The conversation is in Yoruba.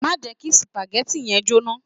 Má jẹ kí supagẹ́tì yẹn jóná.